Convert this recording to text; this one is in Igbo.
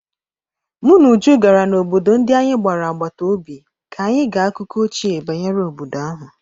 Mụ na Uju gara n'obodo ndi anyị gbara agbata obi ka anyị gee akụkọ ochie banyere obodo ahụ.